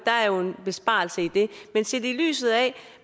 besparelse i det